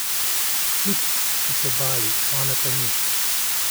Putk so se bali, one pa njih.